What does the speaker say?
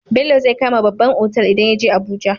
Bello zai kama babban otal idan yaje abuja